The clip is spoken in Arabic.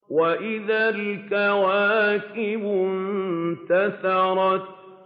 وَإِذَا الْكَوَاكِبُ انتَثَرَتْ